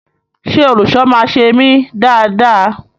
Ṣe olùṣọ máa ṣe emi dáa dáa?